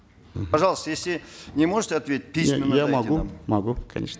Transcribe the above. мхм пожалуйста если не можете ответить письменно я могу могу конечно